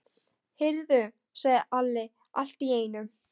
Heyrðu, sagði Alli allt í einu.